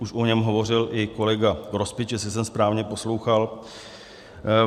Už o něm hovořil i kolega Grospič, jestli jsem správně poslouchal.